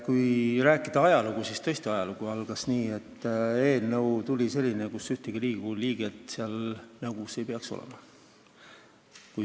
Kui rääkida ajaloost, siis tõesti ajalugu algas nii, et eelnõu tuli meile sellisena, et ühtegi Riigikogu liiget seal nõukogus ei peaks olema.